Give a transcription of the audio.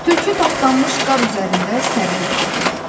Tülkü tapdanmış qar üzərində sərilə qaldı.